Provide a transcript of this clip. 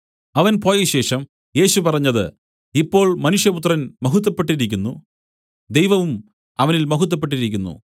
അവൻ പോയശേഷം യേശു പറഞ്ഞത് ഇപ്പോൾ മനുഷ്യപുത്രൻ മഹത്വപ്പെട്ടിരിക്കുന്നു ദൈവവും അവനിൽ മഹത്വപ്പെട്ടിരിക്കുന്നു